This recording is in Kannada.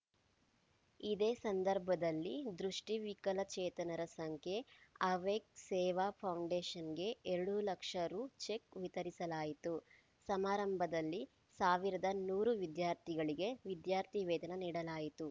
ಇದೇ ಸಂದರ್ಭದಲ್ಲಿ ದೃಷಿ ವಿಕಲಚೇತನರ ಸಂಖ್ಯೆ ಅವೇಕ್‌ ಸೇವಾ ಫೌಂಡೇಷನ್‌ಗೆ ಎರಡು ಲಕ್ಷ ರು ಚೆಕ್‌ ವಿತರಿಸಲಾಯಿತು ಸಮಾರಂಭದಲ್ಲಿ ಸಾವಿರದ ನೂರು ವಿದ್ಯಾರ್ಥಿಗಳಿಗೆ ವಿದ್ಯಾರ್ಥಿವೇತನ ನೀಡಲಾಯಿತು